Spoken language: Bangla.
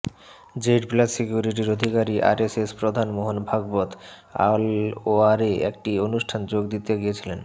জেড প্লাস সিকিউরিটির অধিকারী আরএসএস প্রধান মোহন ভাগবত আলওয়ারে একটি অনুষ্ঠানে যোগ দিতে গিয়েছিলেন